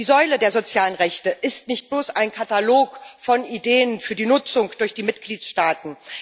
Die Säule der sozialen Rechte ist nicht bloß ein Katalog von Ideen für die Nutzung durch die Mitgliedstaaten.